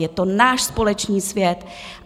Je to náš společný svět.